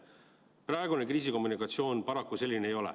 Praegune kriisikommunikatsioon paraku selline ei ole.